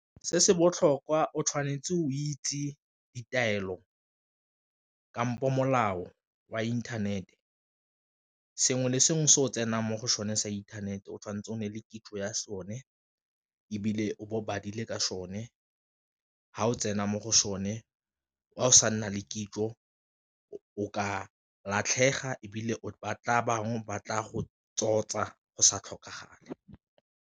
Se se botlhokwa o tshwanetse o itse ditaelo kampo molao wa inthanete sengwe le sengwe se o tsenang mo go sone sa inthanete o tshwanetse o ne le kitso ya sone, ebile o bo o badile ka sone ga o tsena mo go sone o sa nna le kitso o ka latlhega ebile o ba tla bangwe ba tla go tsotsa go sa tlhokagale.